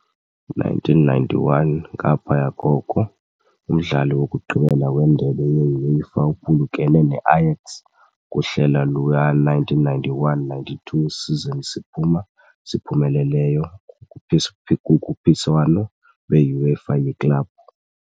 1991, Ngaphaya koko, umdlali wokugqibela weNdebe ye-UEFA uphulukene ne-Ajax kuhlelo luka -1991-92 season siphuma siphumeleleyo kukhuphiswano lwe-UEFA yeklabhu.